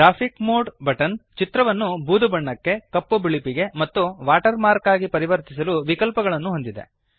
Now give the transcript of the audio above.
graphics mode button ಚಿತ್ರವನ್ನು ಬೂದು ಬಣ್ಣಕ್ಕೆ ಕಪ್ಪು ಬಿಳುಪಿಗೆ ಮತ್ತು ವಾಟರ್ ಮಾರ್ಕ್ ಆಗಿ ಪರಿವರ್ತಿಸಲು ವಿಕಲ್ಪಗಳನ್ನು ಹೊಂದಿದೆ